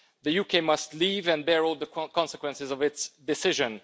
The UK must leave and bear all the consequences of its decision.